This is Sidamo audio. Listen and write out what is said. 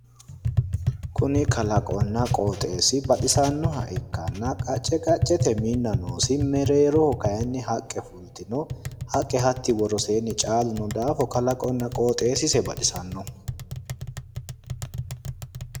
Kuni kalaqonna qooxeessii bacisannoha ikkanna qacce qaccete kinna noosi. Mereeroho kayinni haqqe fultino. Haqqe hatti woroseenni caalu noo daafira kalaqonna qoxeessise baxisannoho.